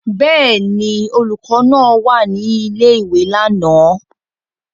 Bẹ́ẹ̀ ni, olùkọ́ náà wà ní ilé-ìwé lánàá.